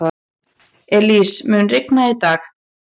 Elsie, mun rigna í dag?